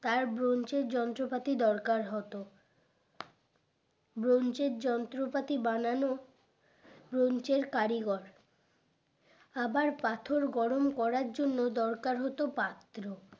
তার ব্রাঞ্চের যন্ত্রপাতি দরকার হতো ব্রাঞ্চের যন্ত্রপাতি বানানো ব্রাঞ্চের কারিগর আবার পাথর গরম করার জন্য দরকার হতো পাত্র